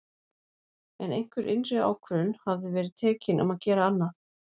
En einhver innri ákvörðun hafði verið tekin um að gera annað.